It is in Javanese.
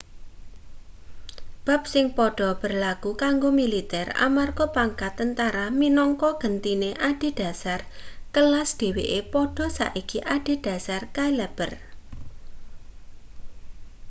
bab sing padha berlaku kanggo militer amarga pangkat tentara minangka gentine adhedhasar kelas dheweke padha saiki adhedhasar cailaber